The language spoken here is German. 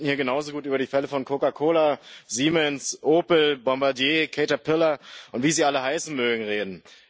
Wir könnten hier genauso gut über die Fälle von Coca Cola, Siemens, Opel, Bombardier, Caterpillar, und wie sie alle heißen mögen, reden.